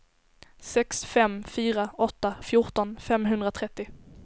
sex fem fyra åtta fjorton femhundratrettio